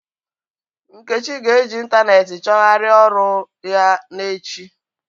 Nkechi ga-eji ịntanetị chọgharịa ọrụ ya n'echi.